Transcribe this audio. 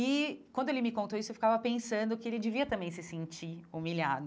E quando ele me contou isso, eu ficava pensando que ele devia também se sentir humilhado.